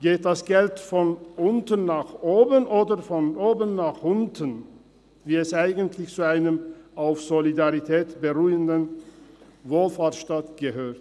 Geht das Geld von unten nach oben oder von oben nach unten, wie es sich eigentlich für einen auf Solidarität beruhenden Wohlfahrtstaates gehört?